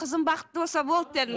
қызым бақытты болса болды дедім